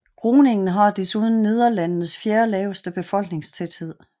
Groningen har desuden Nederlandenes fjerde laveste befolkningstæthed